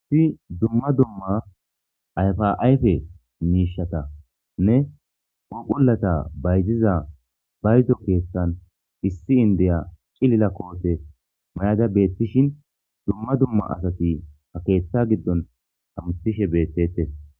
Issi dumma dumma ayfaayfe miishata nne oqolata bayziza baydo keeththan issi indeya cilila koote mayada beettishin dumma dumma asati ha keeththa giddon amutishe beettetes.